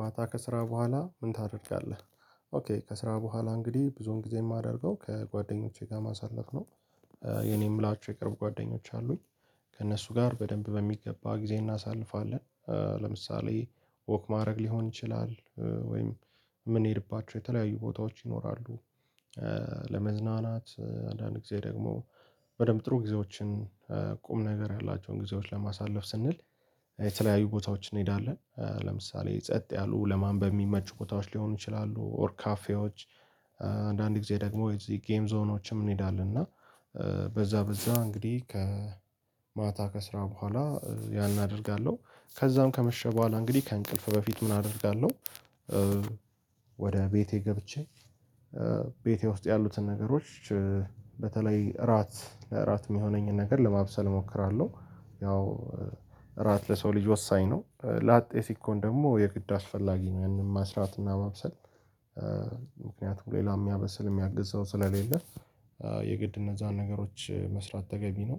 ማታ ከስራ በኋላ ምን ታደርጋለህ? ኦኬ ከስራ በኋላ እንግዲህ ብዙውን ጊዜ የማደርገው ከጓደኞቼ ጋር ማሳለፍ ነው። የኔም ምላቸሁ የቅርብ ጓደኞች አሉኝ። ከእነሱ ጋር በደንብ በሚገባ ጊዜ እናሳልፋለን። ለምሳሌ ወክ ማድረግ ሊሆን ይችላል ወይም የምንሄድባቸው የተለያዩ ቦታዎች ይኖራሉ። ለመዝናናት አንዳንድ ጊዜ ደግሞ በደንብ ጥሩ ጊዜዎችን ቁም ነገር ያላቸውን ጊዜዎች ለማሳለፍ ስንል የተለያዩ ቦታዎችን እንሄዳለን። ለምሳሌ ጸጥ ያሉ ለማንበብ ሚመቹ ቦታዎች ሊሆኑ ይችላሉ ኦር ካፌዎች። አንዳንድ ጊዜ ደግሞ የዚህ ጌም ዞኖችም እንሄዳለን። እና በዚያ በዚያ እንግዲህ ከማታ ከስራ በኋላ ያን አደርጋለሁ ከዚያም ከመሸ በኋላ እንግዲህ ከእንቅልፍ በፊት ምን አደርጋለሁ? ወደ ቤቴ ገብቼ ቤቴ ውስጥ ያሉትን ነገሮች በተለይ እራት ለእራት የሚሆነኝን ነገር ለማብሰል እሞክራለሁ። ያው እራት ለሰው ልጅ ወሳኝ ነው ላጤ ሲኮን ደግሞ የግድ አስፈላጊ ነው። ያንን መስራት እና መብሰል ምክንያቱም ሌላው የሚያበስል የሚያግዝ ሰው ስለሌለ። የግድ እነዛን ነገሮች መስራት ተገቢ ነው።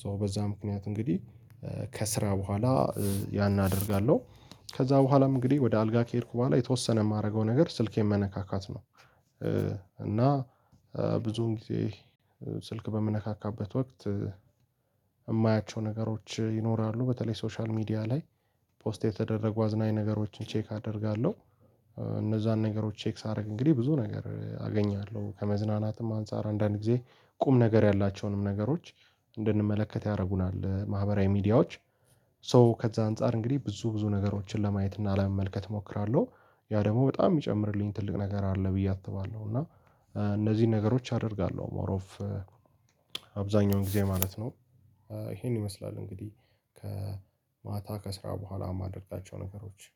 ሶ በዚያ ምክንያት እንግዲህ ከስራ በኋላ ያን አደርጋለሁ ከዚያም በኋላም እንግዲህ ወደ አልጋ ከሄድኩ በኋላ የተወሰነ የማደርገው ነገር ስልኬን መነካካት ነው። እና ብዙን ጊዜ ስልክ በምነካካበት ወቅት የማያቸው ነገሮች ይኖራሉ በተለይ ሶሻል ሚዲያ ላይ ፖስት የተደረጉ አዝናኝ ነገሮችን ቼክ አደርጋለሁ። እነዛን ነገሮች ቼክ ሳደርግ እንግዲህ ብዙ ነገር አገኛለሁ ከመዝናናትም አንፃር አንዳንድ ጊዜ ቁም ነገር ያላቸውንም ነገሮች እንድንመለከት ያደርጉናል ማህበራዊ ሚዲያዎች። ሶ ከዝያ አንፃር እንግዲህ ብዙ ብዙ ነገሮችን ለማየት እና ለመመልከት እሞክራለሁ ያ ደግሞ በጣም የሚጨምርልኝ ትልቅ ነገር አለ ብዬ አስባለሁ። እና እነዚህን ነገሮች አደርጋለሁ ሞር ኦፍ አብዛኛውን ጊዜ ማለት ነው። ይሄን ይመስላል እንግዲህ ከማታ ከስራ በኋላ የማደርጋቸው ነገሮች